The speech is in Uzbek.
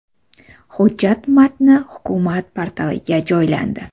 Hujjat matni Hukumat portaliga joylandi .